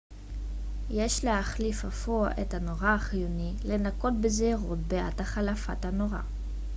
יש להחליף אפוא את הנורה חיוני לנקוט בזהירות בעת החלפת הנורה